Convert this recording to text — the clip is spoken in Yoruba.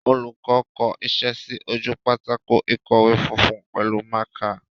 Olùkọ́ kọ iṣẹ́ sí ojú pátákó ìkọ̀wé funfun pẹ̀lú mákà.